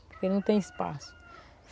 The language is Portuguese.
Porque não tem espaço.